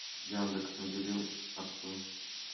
яндекс набери отцу